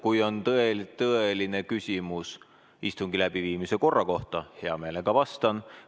Kui on tõesti tõeline küsimus istungi läbiviimise korra kohta, siis hea meelega vastan.